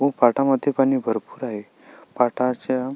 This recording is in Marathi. व पाटामध्ये पाणी भरपुर आहे पाटाच्या--